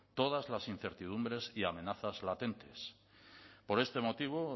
todas las incertidumbres y amenazas latentes por este motivo